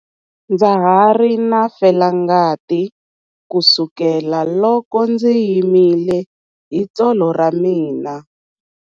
Ndza ha ri na felangati kusukela loko ndzi himile hi tsolo ra mina.